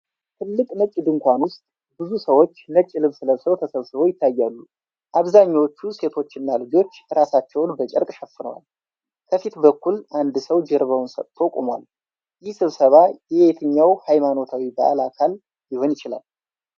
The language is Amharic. ትልቅ ነጭ ድንኳን ውስጥ ብዙ ሰዎች ነጭ ልብስ ለብሰው ተሰብስበው ይታያሉ። አብዛኛዎቹ ሴቶችና ልጆች ራሳቸውን በጨርቅ ሸፍነዋል። ከፊት በኩል አንድ ሰው ጀርባውን ሰጥቶ ቆሟል። ይህ ስብሰባ የየትኛው ሃይማኖታዊ በዓል አካል ሊሆን ይችላል?